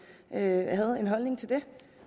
havde en holdning til det